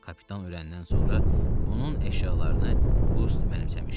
Kapitan öləndən sonra onun əşyalarını Qust mənimsəmişdi.